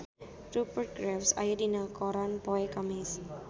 Rupert Graves aya dina koran poe Kemis